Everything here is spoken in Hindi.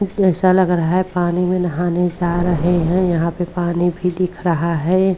ऐसा लग रहा है पानी में नहाने जा रहे हैं। यहाँ पे पानी भी दिख रहा है।